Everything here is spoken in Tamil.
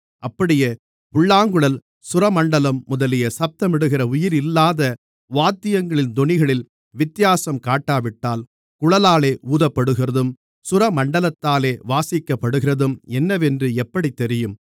அப்படியே புல்லாங்குழல் சுரமண்டலம் முதலிய சத்தமிடுகிற உயிரில்லாத வாத்தியங்களின் தொனிகளில் வித்தியாசம் காட்டாவிட்டால் குழலாலே ஊதப்படுகிறதும் சுரமண்டலத்தாலே வாசிக்கப்படுகிறதும் என்னவென்று எப்படித் தெரியும்